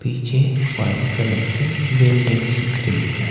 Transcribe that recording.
पीछे white colour की buildings दिख रही है।